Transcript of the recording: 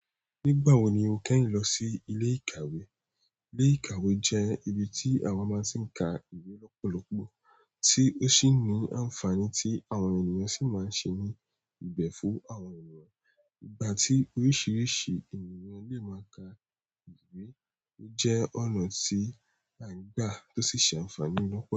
Nígbà wo ni o kẹ́yin lọ sí ilé ìkàwé? Ilé ìkàwé jẹ́ ibi tí àwa máa ń sì ń ka ìwé lọ́pọ̀lọpọ̀, tí ó sì ní ànfàní tí àwọn ènìyàn sì máa ń ṣe ní ìbẹ̀ fún àwọn ènìyàn. Ìgbà ti oríṣiríṣi ènìyàn le ma ka ìwé, o je ọ̀nà ti an gba to si se àǹfààní lopolopo.